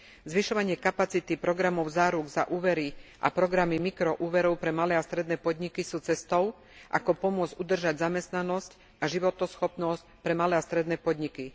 Zvyšovanie kapacity programov záruk za úvery a programy mikroúverov pre malé a stredné podniky sú cestou, ako pomôcť udržať zamestnanosť a životaschopnosť pre malé a stredné podniky.